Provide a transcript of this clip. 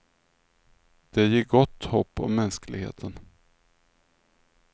Det ger gott hopp om mänskligheten.